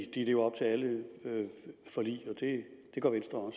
at de lever op til alle forlig det gør venstre